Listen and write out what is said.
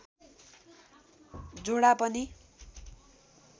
झोडा पनि